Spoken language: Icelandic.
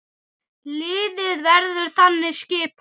Liðið verður þannig skipað